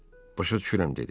Başa düşürəm dedi.